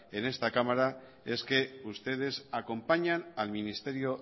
en esta cámara es que ustedes acompañan al ministerio